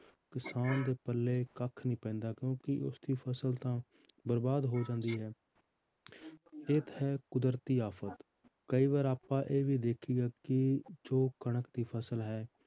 ਕਿਸਾਨ ਦੇ ਪੱਲੇ ਕੱਖ ਨਹੀਂ ਪੈਂਦਾ ਕਿਉਂਕਿ ਉਸਦੀ ਫਸਲ ਤਾਂ ਬਰਬਾਦ ਹੋ ਜਾਂਦੀ ਹੈ ਇਹ ਤਾਂ ਹੈ ਕੁਦਰਤੀ ਆਫ਼ਤ ਕਈ ਵਾਰ ਆਪਾਂ ਇਹ ਵੀ ਦੇਖੀਦਾ ਕਿ ਜੋ ਕਣਕ ਦੀ ਫਸਲ ਹੈ